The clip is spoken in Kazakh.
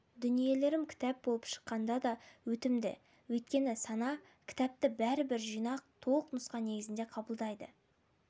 дүниелерім кітап болып шыққанда да өтімді өйткені сана кітапты бәрібір жинақ толық нұсқа негізінде қабылдайды